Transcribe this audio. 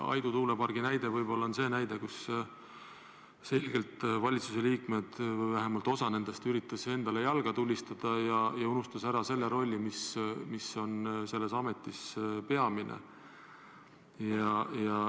Aidu tuulepargi näide võib-olla on selge näide selle kohta, et valitsuse liikmed, vähemalt osa nendest, üritasid endale jalga tulistada ja unustasid ära rolli, mis on selles ametis peamine.